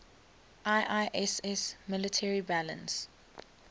iiss military balance